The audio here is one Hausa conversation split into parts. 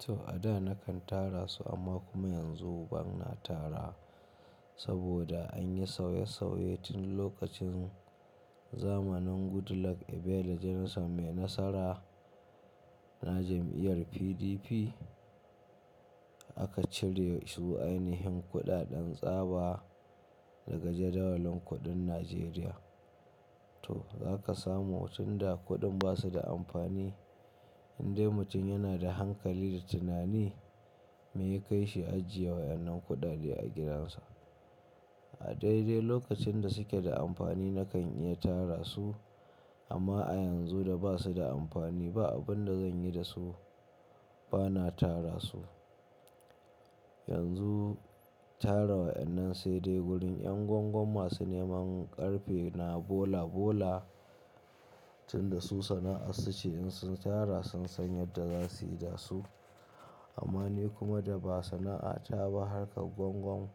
To a da na kan tara su amma kuma yanzu ba na tara saboda an yi sauye sauye tun lokacin zamanin Goodluck Ebele Jonathan mai nasara na jam'iyyar PDP. Aka cire su ainihin kuɗaɗen tsaba daga jadawalin kuɗin Najeriya. To za ka samu tun da kuɗin ba su da amfani indai mutum yana da hankali da tunani mai yakai shi ya ajiye wa'annan kuɗaɗe a gidansa. A daidai lokacin da suke da amfani na kan iya tara su amma a yanzu da ba su da amfani ba abin da zan yi da su ba na tara su. Yanzu tara wa'annan sai dai gurin 'yan gwaggon masu neman ƙarfe na bola bola tun da su sana'a su ce in sun tara sun san yadda za su yi da su. Amma ni kuma da ba sana'ata ba harka gwangwan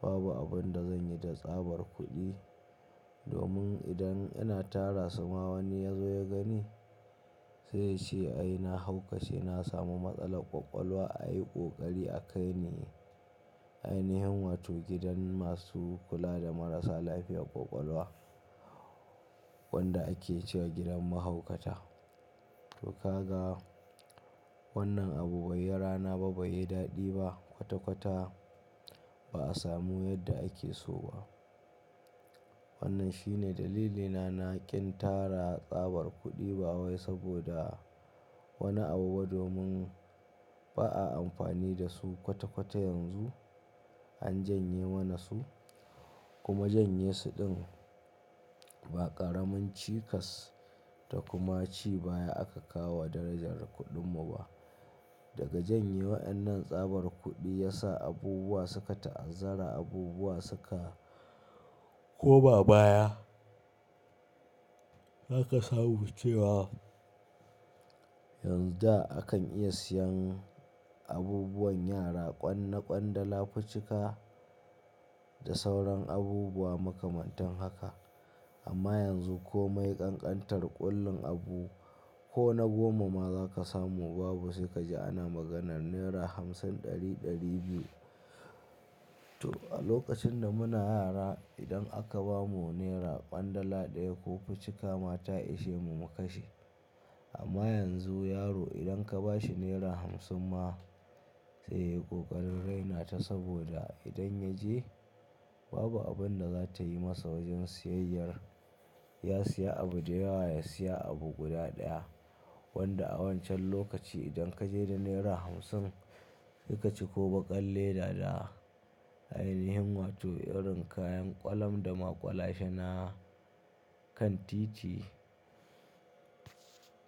babu abin da zan yi da tsabar kuɗi domin idan ina tara su ma wani ya zo ya gani sai ya ce ai na haukace, na samu matsalar ƙwaƙwalwa a yi ƙoƙari a kai ni ainihin wato gidan masu kula da marasa lafiyar ƙwaƙwalwa wanda ake ce gidan mahaukata. To ka ga wannan abu bai yi rana ba, bai yi daɗi ba kwata-kwata ba'a samu yadda ake so ba. Wannan shine dalilina na kin tara tsabar kuɗi ba wai saboda wani abu ba domin ba a amfani da su kwata-kwata yanzu. An janye mana su kuma janye su ɗin ba ƙaramin cikas da kuma ci baya aka kawowa darajar kuɗin mu ba. Daga janye wa'annan tsabar kuɗi ya sa abubuwa suka ta'azzara abubuwa suka koma baya. Za ka samu cewa yanzu da akan iya siyan abubuwan yara ƙwan na ƙwandala, ficika da sauran abubuwa makamantan haka amma yanzu komai kankantar ƙullun abu ko na goma ma za ka samu babu sai ka ji ana maganar naira hamsin, ɗari, ɗari biyu. To a lokacin da muna yara idan aka ba mu naira kwandala ɗaya ko ficika ma ta ishe mu mu kashe. Amma yanzu yaro idan ka ba shi naira hamsin ma sai ya yi ƙoƙarin raina ta saboda idan ya je babu abun da za ta yi masa wajen siyayyar. Ya siya abu da yawa ya siya abu guda ɗaya wanda a wancan lokaci idan ka je da naira hamsin se ka ciko baƙar leda da ainihin wato irin kayan ƙwalam da maƙwalashe na kan titi.